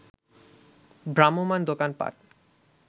ভ্রাম্যমাণ দোকানপাট